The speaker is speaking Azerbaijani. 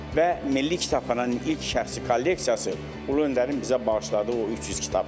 Və Milli Kitabxananın ilk şəxsi kolleksiyası Ulu Öndərin bizə bağışladığı o 300 kitabdır.